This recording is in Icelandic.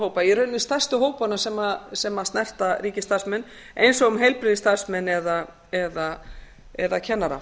hópa í raun við stærstu hópana sem snerta ríkisstarfsmenn eins og um heilbrigðisstarfsmenn eða kennara